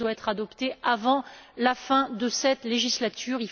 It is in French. Ce texte doit être adopté avant la fin de cette législature.